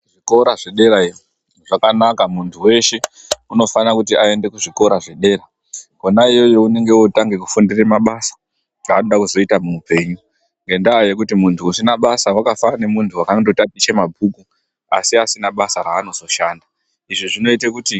Zvikora zve derayo zvakanaka muntu weshe unofana kuti ayede ku zvikora zvedera kona iyoyo unenge otanga kufundire mabasa anoda kuzoita mu hupenyu ngenda yekuti muntu usina basa waka fanana nge muntu akango tatiche mabhuku asi asina basa ra anozo shanda izvi zvinoite kuti.